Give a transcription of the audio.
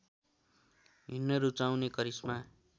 हिँड्न रुचाउने करिश्मा